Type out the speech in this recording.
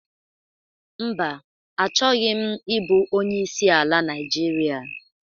Mba, achoghi m ị bu onyeisi ala Naijiria.